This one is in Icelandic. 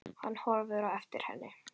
Hann horfir á eftir henni.